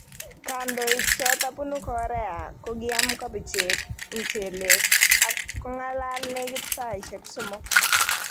Kandoik chotok punu Korea kokiam kobichek, mchelek ak kong'akal nekit saisiek somok